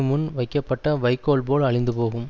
முன் வைக்கப்பட்ட வைக்கோல் போல அழிந்து போகும்